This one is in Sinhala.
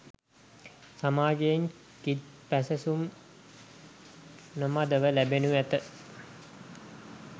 සමාජයෙන් කිත් පැසසුම් නොමදව ලැබෙනු ඇත.